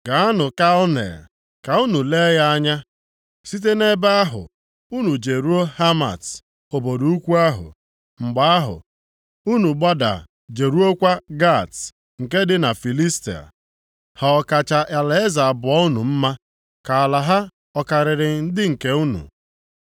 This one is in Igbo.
Gaanụ Kalne, ka unu lee ya anya, site nʼebe ahụ unu jeruo Hamat, obodo ukwu ahụ, mgbe ahụ unu gbada jeruokwa Gat nke dị na Filistia Ha ọ kacha alaeze abụọ unu mma? Ka ala ha ọ karịrị ndị nke unu?